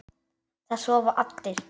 Það sofa allir.